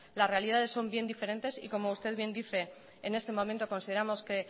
las realidades son bien diferentes y como usted bien dice en este momento consideramos que